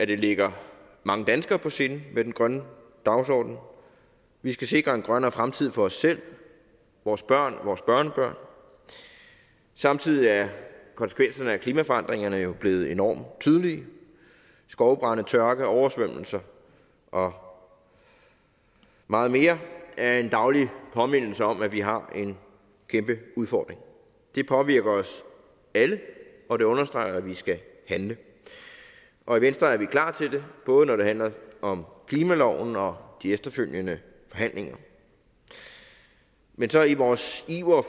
det ligger mange danskere på sinde med den grønne dagsorden vi skal sikre en grønnere fremtid for os selv vores børn og vores børnebørn samtidig er konsekvenserne af klimaforandringerne jo blevet enormt tydelige skovbrande tørke oversvømmelser og meget mere er en daglig påmindelse om at vi har en kæmpe udfordring det påvirker os alle og det understreger at vi skal handle og i venstre er vi klar til det både når det handler om klimaloven og de efterfølgende forhandlinger men i vores iver